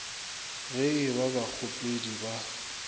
ge e ba bakgopedi ba